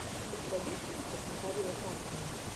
у тебя есть мультик маковея тапкина